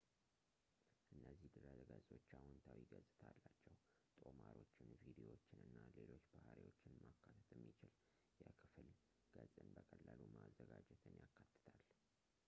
እነዚህ ድረገጾች አዎንታዊ ገጽታ አላቸው ጦማሮችን ቪድዮዎችን እና ሌሎች ባሕሪዎችን ማካተት የሚችል የክፍል ገጽን በቀላሉ ማዘጋጀትን ያካትታል